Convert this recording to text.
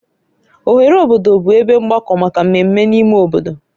Oghere obodo bụ ebe mgbakọ maka mmemme n'ime obodo